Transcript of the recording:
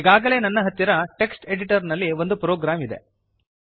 ಈಗಾಗಲೇ ನನ್ನ ಹತ್ತಿರ ಟೆಕ್ಸ್ಟ್ ಎಡಿಟರ್ ನಲ್ಲಿ ಒಂದು ಪ್ರೋಗ್ರಾಮ್ ಇದೆ